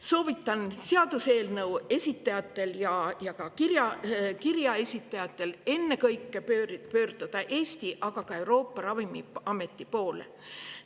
Soovitan seaduseelnõu esitajatel ja ka kirja esitajatel ennekõike pöörduda Eesti, aga ka Euroopa ravimiameti poole.